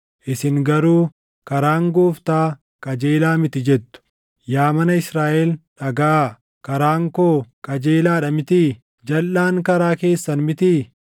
“Isin garuu, ‘Karaan Gooftaa qajeelaa miti’ jettu. Yaa mana Israaʼel dhagaʼaa: Karaan koo qajeelaa dha mitii? Jalʼaan karaa keessan mitii?